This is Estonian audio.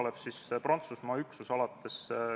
Olen Riigikogu juhatuse nimel vastu võtnud ühe arupärimise.